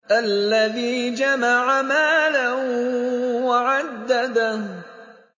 الَّذِي جَمَعَ مَالًا وَعَدَّدَهُ